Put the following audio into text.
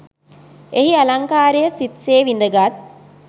එහි අලංකාරය සිත් සේ විදගත්